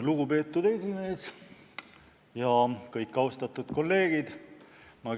Lugupeetud esimees ja kõik austatud kolleegid!